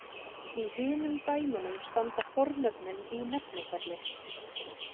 Í hinum dæmunum standa fornöfnin í nefnifalli.